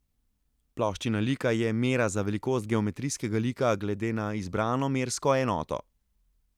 Ploščina lika je mera za velikost geometrijskega lika glede na izbrano mersko enoto.